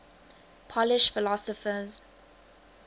polish philosophers